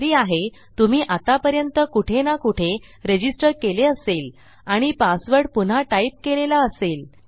खात्री आहे तुम्ही आत्तापर्यंत कुठे ना कुठे रजिस्टर केले असेल आणि पासवर्ड पुन्हा टाईप केलेला असेल